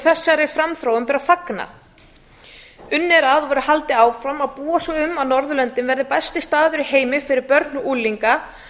þessari framþróun ber að fagna unnið er að og verður haldið áfram að búa svo um að norðurlöndin verði besti staður í heimi fyrir börn og